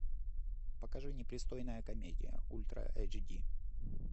покажи непристойная комедия ультра эйч ди